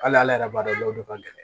Hali ala yɛrɛ b'a dɔn dɔw ka gɛlɛn